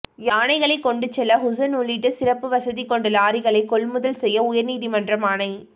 யானைகளை கொண்டு செல்ல குஷன் உள்ளிட்ட சிறப்பு வசதி கொண்ட லாரிகளை கொள்முதல் செய்ய உயர்நீதிமன்றம் ஆணை